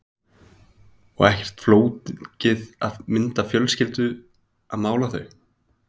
Magnús Hlynur: Og ekkert flókið að mynda fjölskylduna að mála þau?